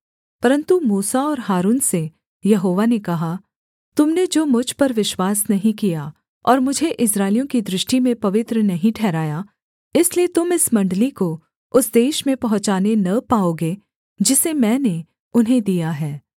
परन्तु मूसा और हारून से यहोवा ने कहा तुम ने जो मुझ पर विश्वास नहीं किया और मुझे इस्राएलियों की दृष्टि में पवित्र नहीं ठहराया इसलिए तुम इस मण्डली को उस देश में पहुँचाने न पाओगे जिसे मैंने उन्हें दिया है